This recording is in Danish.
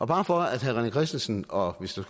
bare for at herre rené christensen og hvis der